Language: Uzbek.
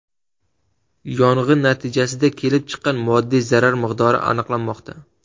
Yong‘in natijasida kelib chiqqan moddiy zarar miqdori aniqlanmoqda.